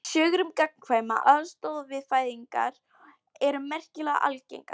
Sögur um gagnkvæma aðstoð við fæðingar eru merkilega algengar.